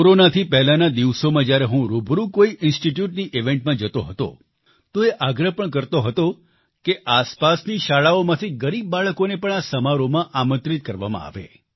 કોરોનાથી પહેલાના દિવસોમાં જ્યારે હું રૂબરૂ કોઈ ઈન્સ્ટિટ્યૂટની ઈવેન્ટમાં જતો હતો તો એ આગ્રહ પણ કરતો હતો કે આસપાસની શાળાઓમાંથી ગરીબ બાળકોને પણ આ સમારોહમાં આમંત્રિત કરવામાં આવે